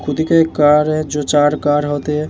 खुद के एक कार है जो चार कार होते --